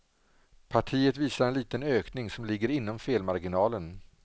Partiet visar en liten ökning, som ligger inom felmarginalen.